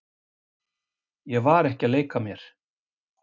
Ég var ekki að leika mér.